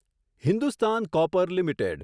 Hindustan Copper limited